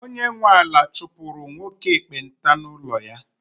onye nwe ala chụpụrụ nwoke ekpenta n’ụlọ ya